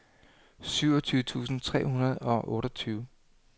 syvogtyve tusind tre hundrede og otteogtyve